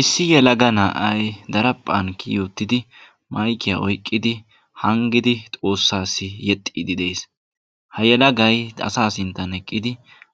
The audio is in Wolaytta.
Issi yelega na'ay daraphphan kiyi uttidi maykkiya oyqqidi hangidi Xoossayo yeexxide de'ees; ha yelagay asaa sinttan eqqidi